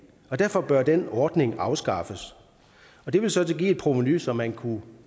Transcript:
derfor bør den ordning afskaffes det vil så give et provenu som man kunne